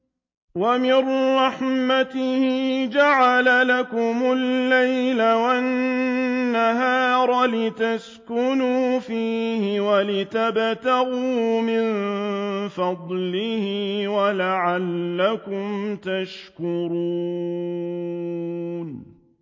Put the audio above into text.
وَمِن رَّحْمَتِهِ جَعَلَ لَكُمُ اللَّيْلَ وَالنَّهَارَ لِتَسْكُنُوا فِيهِ وَلِتَبْتَغُوا مِن فَضْلِهِ وَلَعَلَّكُمْ تَشْكُرُونَ